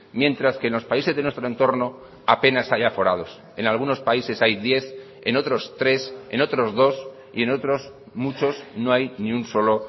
mientras que en los países de nuestro entorno apenas hay aforados en algunos países hay diez en otros tres en otros dos y en otros muchos no hay ni un solo